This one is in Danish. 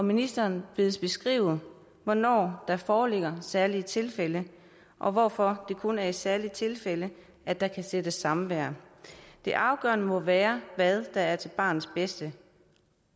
ministeren bedes beskrive hvornår der foreligger særlige tilfælde og hvorfor det kun er i særlige tilfælde at der kan sættes samvær det afgørende må være hvad der er til barnets bedste